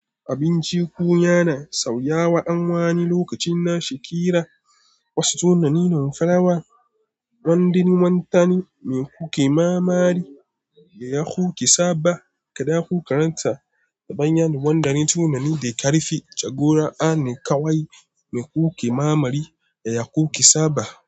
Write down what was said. Abinci kunya na sauya wa anwani lokacin na shakira. Wasu tunanin farawa, wanda ni wantani me kuke ma'amali da ya kuke saba, kada ku karanta ta bayan wanda ne tunani da karfi jagora a ne kawai me kuke ma'amali da ya kuke saba.